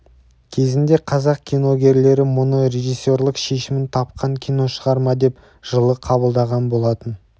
кезінде қазақ киногерлері мұны режиссерлік шешімін тапқан киношығарма деп жылы қабылдаған болатын